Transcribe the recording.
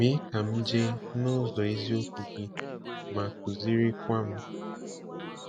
Mee ka m jee n’ụzọ eziokwu gị ma kụzirikwa m.